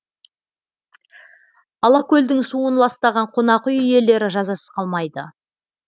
алакөлдің суын ластаған қонақ үй иелері жазасыз қалмайды